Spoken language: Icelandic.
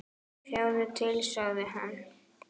Sjáðu til, sagði hann.